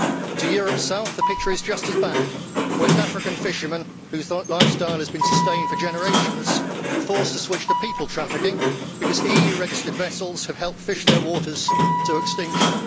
To Europe's south, the picture is just as bad. West African fishermen, whose lifestyle had been sustained for generations, are being forced to switch to people trafficking because EU registered vessels have helped fish their waters to extinction.